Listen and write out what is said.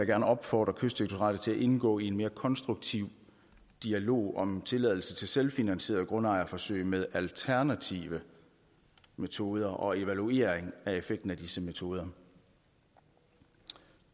gerne opfordre kystdirektoratet til at indgå i en mere konstruktiv dialog om tilladelse til selvfinansieret grundejerforsøg med alternative metoder og evaluering af effekten af disse metoder